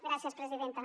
gràcies presidenta